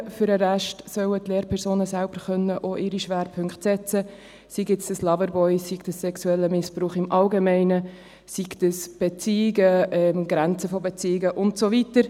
Für den Rest sollen die Lehrpersonen selber auch ihre Schwerpunkte setzen können, sei dies Loverboy, sei dies sexueller Missbrauch im Allgemeinen, sei dies Beziehungen, Grenzen von Beziehungen und so weiter.